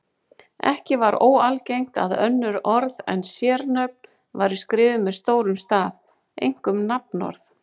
Ekki var óalgengt að önnur orð en sérnöfn væru skrifuð með stórum staf, einkum nafnorð.